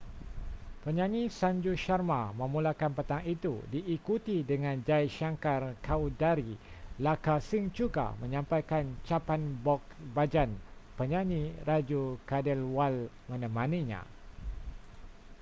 penyanyi sanju sharma memulakan petang itu diikuti dengan jai shankar choudhary. [lakka singh juga] menyampaikan chhappan bhog bhajan. penyanyi raju khandelwal menemaninya